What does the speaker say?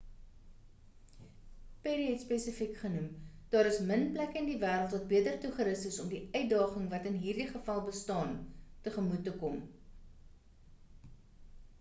perry het spesifiek genoem daar is min plekke in die wêreld wat beter toegerus is om die uitdaging wat in hierdie geval bestaan tegemoet te kom